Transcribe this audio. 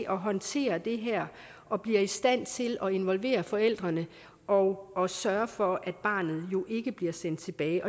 at håndtere det her og bliver i stand til at involvere forældrene og og sørge for at barnet ikke bliver sendt tilbage